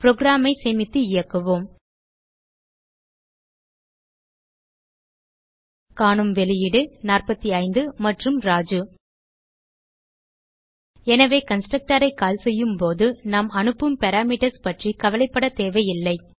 program ஐ சேமித்து இயக்குவோம் காணும் வெளியீடு 45 மற்றும் ராஜு எனவே கன்ஸ்ட்ரக்டர் ஐ கால் செய்யும்போது நாம் அனுப்பும் பாராமீட்டர்ஸ் பற்றி கவலைப்படத்தேவையில்லை